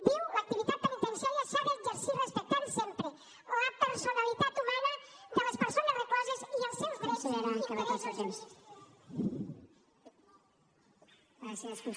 diu l’activitat penitenciària s’ha d’exercir respectant sempre la personalitat humana de les persones recloses i els seus drets i interessos jurídics